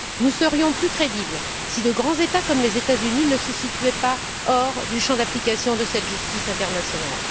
Nous serions plus crédibles si de grands États comme les États Unis ne se situaient pas hors du champ d'application de cette justice internationale.